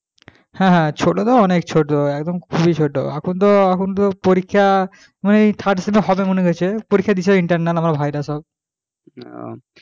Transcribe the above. হ্যাঁ হ্যাঁ ছোট তো অনেক ছোট একদম খুবই ছোট এখন তো এখন তো পরীক্ষা মানে third sem হবে মনে করছি। পরীক্ষা দিয়েছে internal আমার ভাইরা সব